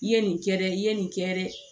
I ye nin kɛ dɛ i ye nin kɛ dɛ